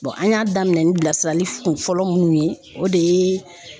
an y'a daminɛ ni bilasirali kunfɔlɔ munnu ye o de ye